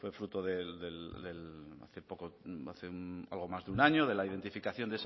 fruto de hace poco hace más de un año de la identificación